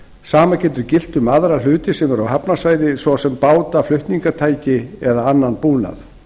sama getur gilt um aðra hluti sem eru á hafnarsvæði svo sem báta flutningstæki eða annan búnað